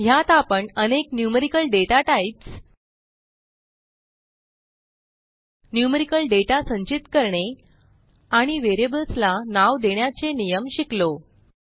ह्यात आपण अनेक न्यूमेरिकल डाटाटाइप्स न्यूमेरिकल दाता संचित करणे आणि व्हेरिएबल्सला नाव देण्याचे नियम शिकलो